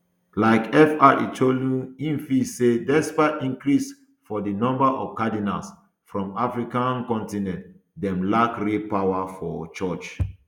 like fr chu ilo um im feel say despite increase for di number of cardinals from african um continent dem lack real power for church